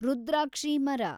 ರುದ್ರಾಕ್ಷಿ ಮರ